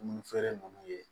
Dumuni feere ninnu ye